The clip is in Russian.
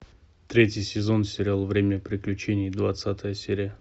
третий сезон сериал время приключений двадцатая серия